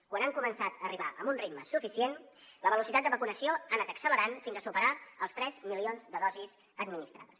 quan han començat a arribar amb un ritme suficient la velocitat de vacunació ha anat accelerant fins a superar els tres milions de dosis administrades